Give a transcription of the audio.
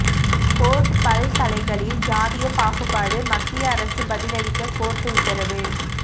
court பல்கலைகளில் ஜாதியபாகுபாடு மத்திய அரசு பதில் அளிக்க கோர்ட் உத்தரவு